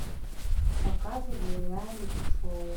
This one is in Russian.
показывай реалити шоу